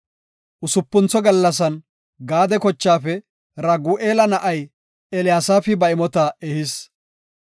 Usupuntho gallasan Gaade kochaafe Ragu7eela na7ay Eliyasaafi ba imota ehis.